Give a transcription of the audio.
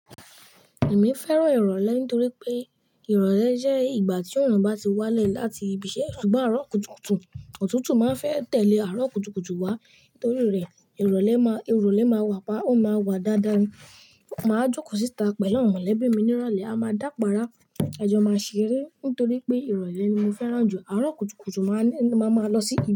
Èmi fẹ́ràn ìrọ̀lẹ́ nítorí pé ìrọ̀lẹ́ jẹ́ ìgbà tí òòrùn bá ti wálẹ̀ láti ibi iṣẹ́ ṣùgbọ́n àárọ̀ kùtùkùtù. Òtútù máa ń fẹ́ tẹ̀lé àárọ̀ kùtùkùtù wá torí rẹ̀ ìrọ̀lẹ́ má, ìrọ̀lẹ́ máa wà pa, ó máa wà dáadáa ni. Máa jókòó síta pẹ̀lú àwọn mọ̀lẹ́bí mi ní ìrọ̀lẹ́, a máa dàpara, ẹjọ́ máa ṣe rí nítorí pé ìrọ̀lẹ́ ni mo fẹ́ràn jù. Àárọ̀ kùtùkùtù máa n, máa máa lọ sí.